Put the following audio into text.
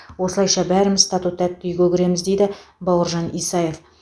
осылайша бәріміз тату тәтті үйге кіреміз дейді бауыржан исаев